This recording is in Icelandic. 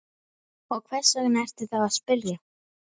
Og hvers vegna ertu þá að spyrja?